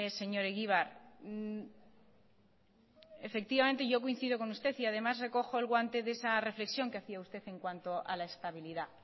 señor egibar yo coincido con usted y además recojo el guante de esa reflexión que hacia usted en cuanto a la estabilidad